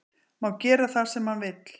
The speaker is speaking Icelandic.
Má gera það sem hann vill